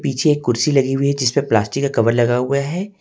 पीछे कुर्सी लगी हुई है जिसमें प्लास्टिक का कवर लगा हुआ है।